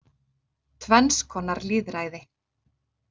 Tvenns konar lýðræði